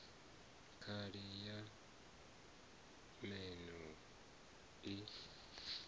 khali ya nan o i